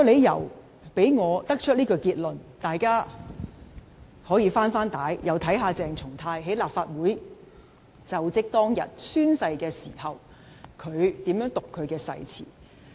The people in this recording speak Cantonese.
讓我得出這個結論的第二個理由是，大家可以"回帶"，重溫鄭松泰在立法會宣誓就職當日是如何讀出其誓詞。